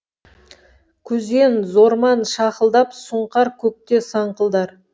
күзен зорман шақылдап сұңқар көкте саңқылдар